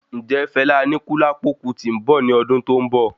Ǹjẹ Fela Anikulapo Kuti nbọ ní ọdún tó n bọ?